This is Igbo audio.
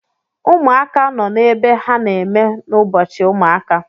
Ụmụaka nọ n’ebe ha na-eme n'Ubọchiụmụaka